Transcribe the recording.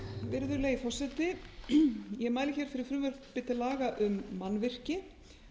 virðulegi forseti ég mæli hér fyrir frumvarpi til laga um mannvirki